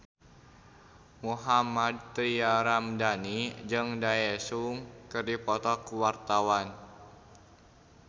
Mohammad Tria Ramadhani jeung Daesung keur dipoto ku wartawan